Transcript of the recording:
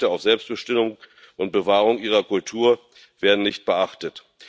Ihre Rechte auf Selbstbestimmung und Bewahrung ihrer Kultur werden nicht beachtet.